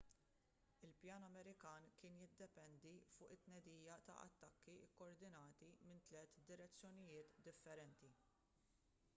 il-pjan amerikan kien jiddependi fuq it-tnedija ta' attakki kkoordinati minn tliet direzzjonijiet differenti